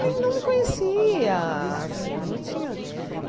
nem não me conhecia assim não tinha.